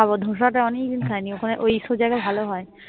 ধোসাটা অনেকদিন খাইনি ওখানে ওই সব জায়গায় ভালো হয়